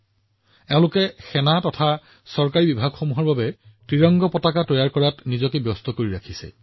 ভগ্নীসকলে কাশ্মীৰত সেনা আৰু চৰকাৰী কাৰ্যালয়ৰ বাবে ত্ৰিৰংগা চিলাইৰ কাম কৰি আছে